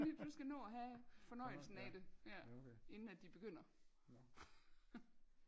Du skal nå og have fornøjelsen af det ja inden at de begynder